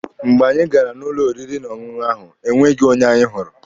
Mgbe anyị gara n'ụlọ oriri na ọṅụṅụ ahụ, e nweghị onye anyị hụrụ.